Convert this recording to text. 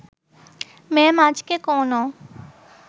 মেম আজকে কোনো